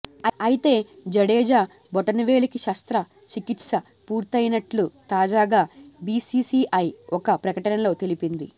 అయితే జడేజా బొటనవేలికి శస్త్ర చికిత్స పూర్తయినట్లు తాజాగా బీసీసీఐ ఒక ప్రకటనలో తెలిపింది